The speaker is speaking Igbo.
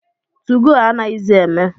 2go anaghịzi eme.